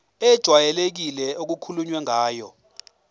ejwayelekile okukhulunywe ngayo